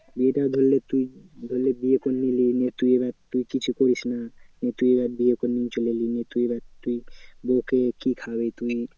বিয়েটা ধরলে তুই ধরলে বিয়ে করলি নিয়ে এবার তুই কিছু করিস না, নিয়ে তুই এবার বিয়ে করে নিয়ে চলে গেলি। নিয়ে তুই এবার তুই বৌকে কি খাওয়াবি? তুই